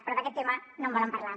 però d’aquest tema no en volen parlar